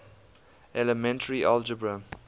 elementary algebra